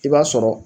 I b'a sɔrɔ